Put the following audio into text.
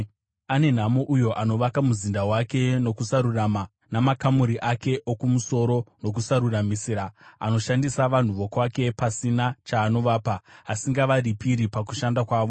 “Ane nhamo uyo anovaka muzinda wake nokusarurama, namakamuri ake okumusoro nokusaruramisira, anoshandisa vanhu vokwake pasina chaanovapa, asingavaripiri pakushanda kwavo.